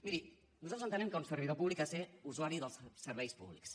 miri nosaltres entenem que un servidor públic ha de ser usuari dels serveis públics